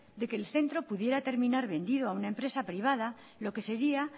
de que el centro pudiera terminar vendido a una empresa privada lo que sería